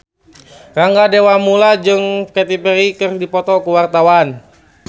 Rangga Dewamoela jeung Katy Perry keur dipoto ku wartawan